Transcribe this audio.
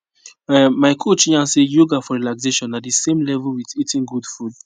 um my coach yarn say yoga for relaxation na the same level with eating good food